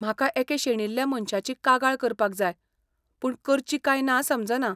म्हाका एके शेणिल्ल्या मनशाची कागाळ करपाक जाय पूण करची काय ना समजना.